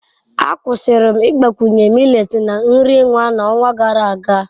Akwụsịrị m ịgbakwunye millet na nri nwa n'ọnwa gara aga.